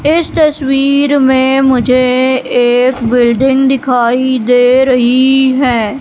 इस तस्वीर में मुझे एक बिल्डिंग दिखाई दे रही है।